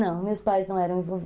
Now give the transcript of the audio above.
Não, meus pais não eram envol